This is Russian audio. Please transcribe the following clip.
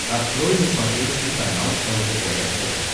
открой на смотрешке канал лдпр тв